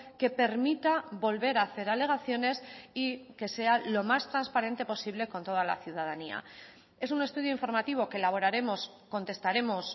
que permita volver a hacer alegaciones y que sea lo más transparente posible con toda la ciudadanía es un estudio informativo que elaboraremos contestaremos